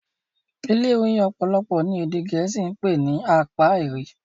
ilé oyin opolopo ni ede gèésì pé ní Apairy.